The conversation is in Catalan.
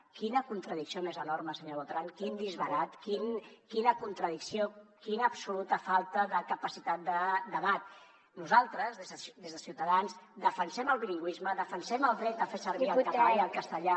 quina contradicció més enorme senyor botran quin disbarat quina contradicció quina absoluta falta de capacitat de debat nosaltres des de ciutadans defensem el bilingüisme defensem el dret a fer servir el català i el castellà